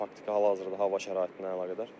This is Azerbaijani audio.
Faktiki hal-hazırda hava şəraitinə əlaqədar.